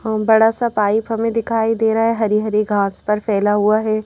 बड़ा सा पाइप हमें दिखाई दे रहा है हरी हरी घास पर फैला हुआ है।